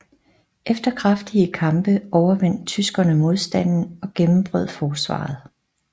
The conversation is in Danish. Efter kraftige kampe overvandt tyskerne modstanden og gennembrød forsvaret